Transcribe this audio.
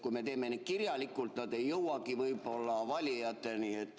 Kui me teeme neid kirjalikult, siis nad ei jõuagi võib-olla valijateni.